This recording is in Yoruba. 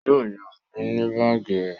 Yó yá mi ní báàgì rẹ